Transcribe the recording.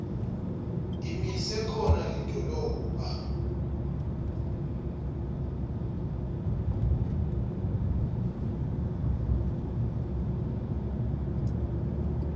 imise khona lidolobha